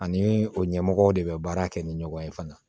Ani o ɲɛmɔgɔw de bɛ baara kɛ ni ɲɔgɔn ye fana